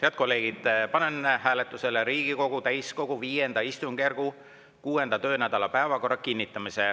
Head kolleegid, panen hääletusele Riigikogu täiskogu V istungjärgu 6. töönädala päevakorra kinnitamise.